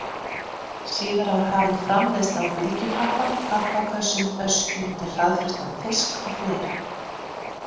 Síðar var hafin framleiðsla á bylgjupappa, pappakössum, öskjum undir hraðfrystan fisk og fleira.